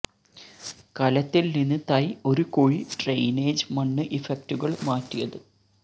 കലത്തിൽ നിന്ന് തൈ ഒരു കുഴി ഡ്രെയിനേജ് മണ്ണ് ഇഫക്റ്റുകൾ മാറ്റിയത്